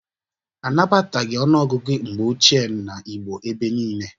Anabataghị ọnụọgụgụ mgbe ochie n'Igbo ebe niile